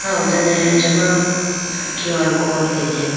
aw done achama Q R code atelayibo.